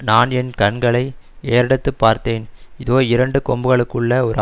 நான் என் கண்களை ஏறெடுத்து பார்த்தேன் இதோ இரண்டு கொம்புகளுள்ள ஒரு